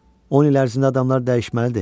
10 il ərzində adamlar dəyişməlidir.